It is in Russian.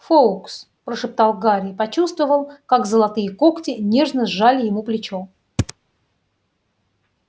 фоукс прошептал гарри и почувствовал как золотые когти нежно сжали ему плечо